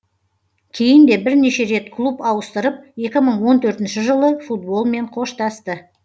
кейін де бірнеше рет клуб ауыстырып екі мың он төртінші жылы футболмен қоштасты